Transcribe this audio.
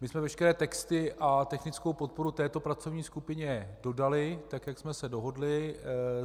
My jsme veškeré texty a technickou podporu této pracovní skupině dodali, tak jak jsme se dohodli.